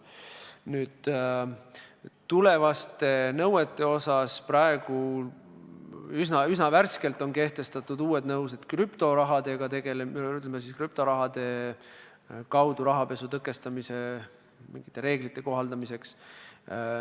Mis puudutab tulevasi nõudeid, siis praegu on üsna värskelt kehtestatud nõuded krüptorahaga tegelemiseks või, ütleme siis, krüptoraha kaudu rahapesu tõkestamise reeglite kohaldamiseks.